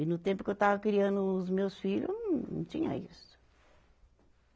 E no tempo que eu estava criando os meus filhos, não tinha isso.